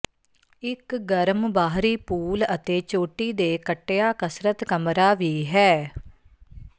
ਇੱਕ ਗਰਮ ਬਾਹਰੀ ਪੂਲ ਅਤੇ ਚੋਟੀ ਦੇ ਕੱਟਿਆ ਕਸਰਤ ਕਮਰਾ ਵੀ ਹੈ